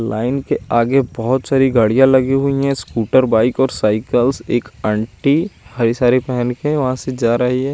Line के आगे बोहोत सारी गाड़िया लगी हुई है स्कूटर बाइक और साइकिल एक आंटी हरी साड़ी पहन के वह से जा रहे है ।